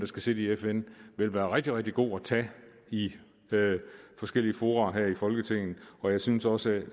skal sidde i fn ville være rigtig rigtig god at tage i forskellige fora her i folketinget og jeg synes også